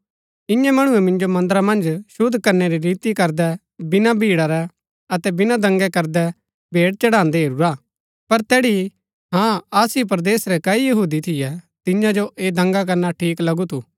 इन्यै मणुऐ मिन्जो मन्दरा मन्ज शुद्ध करनै री रीति करदै बिना भीड़ा रै अतै बिना दंगा करदै भेंट चढ़ान्दै हेरूरा पर तैड़ी हाँ आसिया परदेस रै कई यहूदी थियैतियां जो ऐह दंगा करना ठीक लगु थु